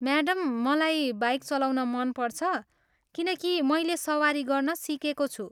Madam, मलाई bike चलाउन मन पर्छ किनकि मैले सवारी गर्न सिकेको छु।